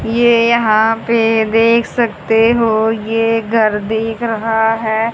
ये यहां पे देख सकते हो ये घर दिख रहा है।